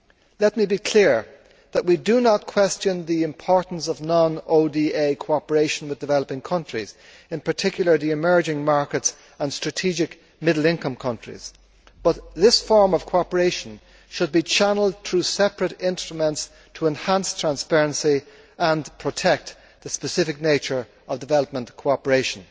Let me be clear that we do not question the importance of non ODA cooperation with developing countries, in particular, the emerging markets and strategic middle income countries, but this form of cooperation should be channelled through separate instruments to enhance transparency and protect the specific nature of development cooperation.